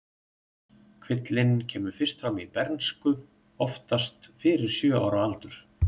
Kvillinn kemur fyrst fram í bernsku, oftast fyrir sjö ára aldur.